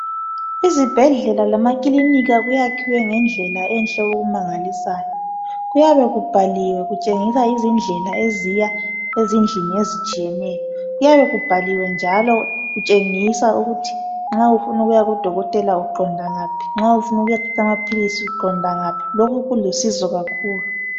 Izibhedlela lamakilinika kwakhiwe ngendlela enhle okumangalisayo. Kuyabe kubhaliwe kutshengisa izindlela eziya ezindlini ezitshiyeneyo. Kuyabe kubhaliwe njalo kutshengisa ukuthi nxa ufuna ukuyaku dokotela uqonda ngaphi nxa ufuna ukuyathatha amaphilisi uqonda ngaphi lokhu kulusizo kakhulu.